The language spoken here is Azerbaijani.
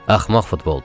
Axmaq futboldur.